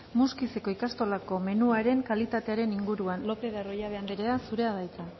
muskizeko ikastolako menuaren kalitatearen inguruan lopez de arroyabe anderea zurea da hitza